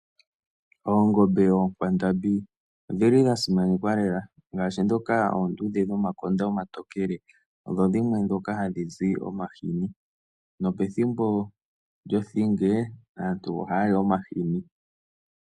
Oongobe, onkwandambi odhili dha simanekwa lela ngashi dhoka oondudhe dhomakonda omatokele, odho dhimwe dhoka ha dhizi omahini. Nopethimbo lyothinge aantua ohaya li omahini.